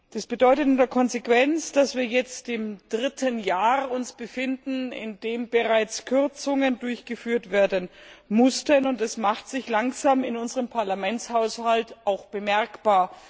Das bedeutet in der Konsequenz, dass wir uns jetzt im dritten Jahr befinden, in dem bereits Kürzungen durchgeführt werden mussten, und es macht sich langsam in unserem Parlamentshaushalt auch bemerkbar.